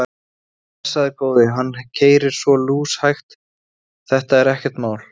Blessaður góði. hann keyrir svo lúshægt, þetta er ekkert mál.